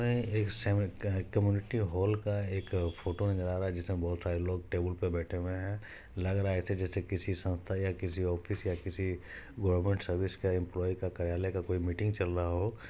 एक community hall का एक फोटो नज़र आ रहा है जिसमे बहोत सारे लोग टेबुल पे बैठे हुए है लग रहा है ऐसे - जैसे किसी संस्था या किसी ऑफिस या किसी गवर्मेन्ट सर्विस एम्पॉलई का कार्यलाय का कोई मीटिंग चल रहा हो।